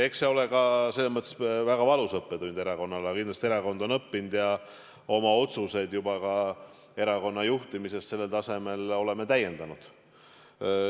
Eks see ole ka selles mõttes väga valus õppetund erakonnale, aga kindlasti on erakond sellest õppinud ja oleme juba ka oma otsuseid erakonna juhtimises sellel tasemel täiendanud.